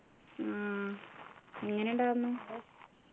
ആഹ് എങ്ങനെ ഉണ്ടായിരുന്നു